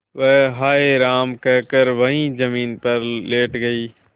वह हाय राम कहकर वहीं जमीन पर लेट गई